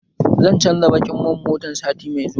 Zan canza baƙin man mota na sati mai zuwa